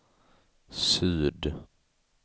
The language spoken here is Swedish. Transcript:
syd